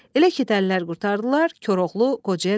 Elə ki dəllər qurtardılar, Koroğlu qocaya dedi: